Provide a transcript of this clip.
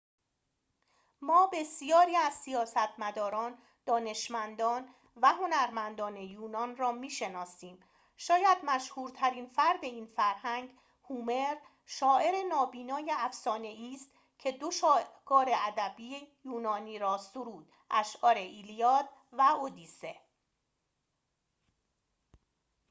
ما بسیاری از سیاستمداران دانشمندان و هنرمندان یونان را می‌شناسیم شاید مشهورترین فرد این فرهنگ هومر شاعر نابینای افسانه‌ای است که دو شاهکار ادبی یونان را سرود اشعار ایلیاد و ادیسه